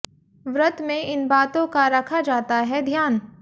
व्रत में इन बातों का रखा जाता है ध्यान